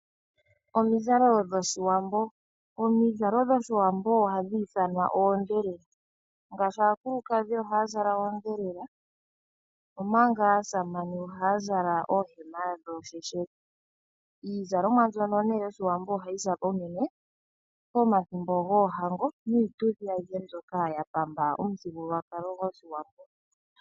Omizalo dhoshiwambo, omizalo dhoshiwambo ohadhi ithanwa oondhelela. Ngaashi aakulukadhi ohaya zala oondhelela omanga aasamane ohaya zala oohema dhoosheshele. Iizalomwa mbyono nee yoshiwambo ohayi zalwa unene pomathimbo goohango niituthi ayihe mbyoka ya pamba omuthigululwakalo gwoshiwambo.